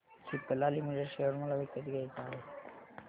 Cipla limited share मला विकत घ्यायचे आहेत